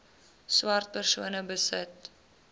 swart persone besit